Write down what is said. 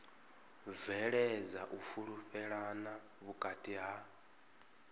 bveledza u fhulufhelana vhukati ha